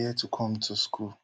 near tu come tu school